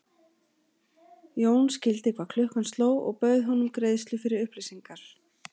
Jón skildi hvað klukkan sló og bauð honum greiðslu fyrir upplýsingar.